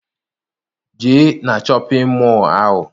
Jee na shọpịn mọọ ahụ!